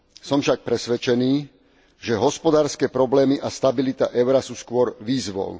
Som však presvedčený, že hospodárske problémy a stabilita eura sú skôr výzvou.